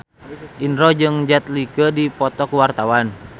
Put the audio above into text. Indro jeung Jet Li keur dipoto ku wartawan